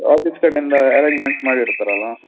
Office ಕಡೆಯಿಂದ Arrangement ಮಾಡಿರತರಲ್ವ.